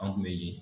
An kun be